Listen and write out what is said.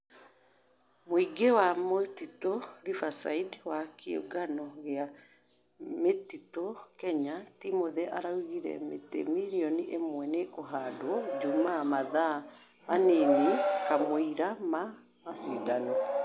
Mũigi wa mĩtitu riverside wa kĩũngano gia mĩtitũ kenya Timothy araũgĩre mĩtĩ millionĩ ĩmwe nĩĩkũhadwo jũmaa mathaa manini kamweĩra ma mashĩdano